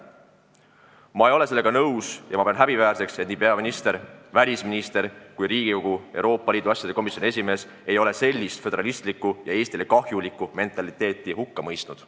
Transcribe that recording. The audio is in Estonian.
Ma ei ole sellega nõus ja ma pean häbiväärseks, et nii peaminister, välisminister kui Riigikogu Euroopa Liidu asjade komisjoni esimees ei ole sellist föderalistlikku ja Eestile kahjulikku mentaliteeti hukka mõistnud.